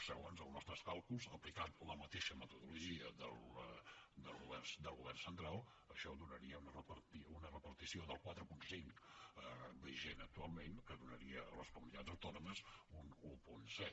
segons els nostres càlculs aplicant la mateixa metodologia del govern central això donaria una repartició del quatre coma cinc vigent actualment que donaria a les comunitats autònomes un un coma set